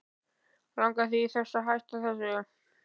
Langar þig til þess að hætta þessu?